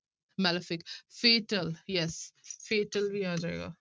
Malefic fatal yes fatal ਵੀ ਆ ਜਾਏਗਾ।